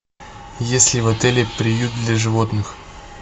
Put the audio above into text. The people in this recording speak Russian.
есть ли в отеле приют для животных